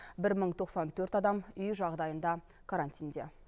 бір мың тоқсан төрт адам үй жағдайында карантинде